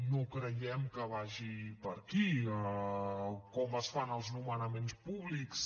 no creiem que vagi per aquí o com es fan els nomenaments públics